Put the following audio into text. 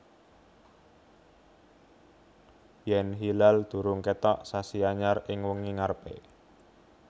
Yèn hilal durung kètok sasi anyar ing wengi ngarepé